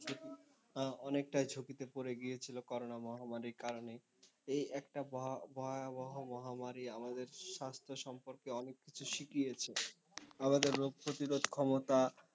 অনেকটাই ঝুঁকিতে পড়ে গিয়েছিল করোনা মহামারীর কারণে। এই একটা ভয়াবহ মহামারী আমাদের স্বাস্থ্য সম্পর্কে অনেককিছু শিখিয়েছে। আমাদের রোগ প্রতিরোধ ক্ষমতা,